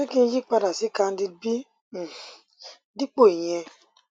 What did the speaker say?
ṣé kí n yí padà sí candid b um dípò ìyẹn